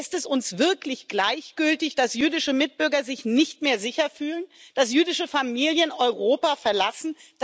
Lässt es uns wirklich gleichgültig, dass jüdische Mitbürger sich nicht mehr sicher fühlen, dass jüdische Familien Europa verlassen?